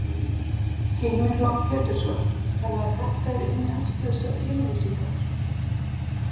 Heimir Már Pétursson: Þannig að þetta eru innihaldslausar yfirlýsingar?